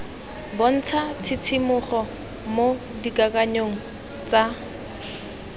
bontsha tshisimogo mo dikakanyong tsa